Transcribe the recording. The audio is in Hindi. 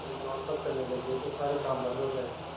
दुनिया उन पर चलने लगे तो सारे काम बन्द हो जाएँ